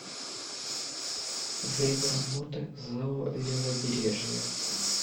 время работы зао левобережье